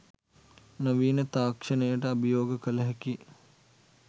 නවීන තාක්ෂණයට අභියෝග කළ හැකි